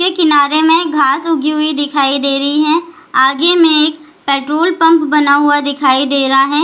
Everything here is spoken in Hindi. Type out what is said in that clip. के किनारे में घास उगी हुई दिखाई दे रही है आगे में पेट्रोल पम्प बना हुआ दिखाई दे रहा है।